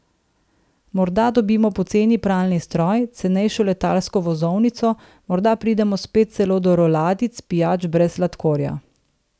Morda dobimo poceni pralni stroj, cenejšo letalsko vozovnico, morda pridemo spet celo do roladic pijač brez sladkorja.